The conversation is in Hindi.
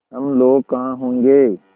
हम लोग कहाँ होंगे